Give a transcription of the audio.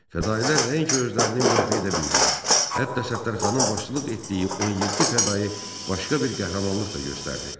Fədailər nəinki özlərini müdafiə edə bildilər, hətta Səttərxanın başçılıq etdiyi 17 fədai başqa bir qəhrəmanlıq da göstərdi.